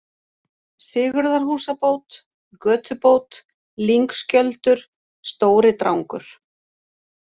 Sigurðarhúsabót, Götubót, Lyngskjöldur, Stóri-Drangur